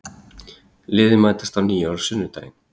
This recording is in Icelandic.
Liðin mætast að nýju á sunnudaginn